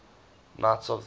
knights of the garter